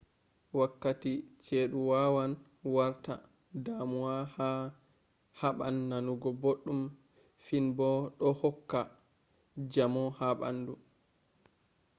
wakkati ceduwawan warta damuwa a haban nanugo boddum finbo do hokka jamo ha bandu